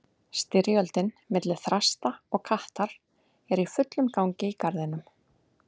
Styrjöldin milli þrasta og kattar er í fullum gangi í garðinum.